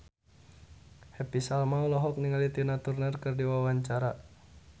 Happy Salma olohok ningali Tina Turner keur diwawancara